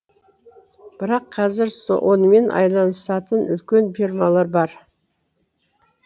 бірақ қазір онымен айналысатын үлкен фермалар бар